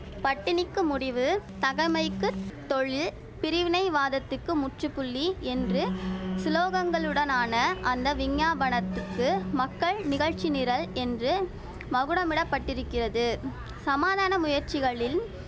பட்டினிக்கு முடிவு தகமைக்கு தொழில் பிரிவினை வாதத்துக்கு முற்றுப்புள்ளி என்று சுலோகங்களுடனான அந்த விஞ்ஞாபனத்துக்கு மக்கள் நிகழ்ச்சி நிரல் என்று மகுடமிடப்பட்டிருக்கிறது சமாதான முயற்சிகளின்